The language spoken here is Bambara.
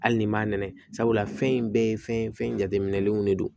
Hali ni m'a nɛnɛ sabula fɛn in bɛɛ ye fɛn ye fɛn in jateminɛlenw de don